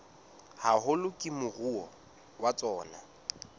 haholo ke moruo wa tsona